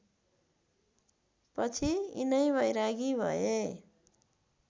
पछि यिनै बैरागी भए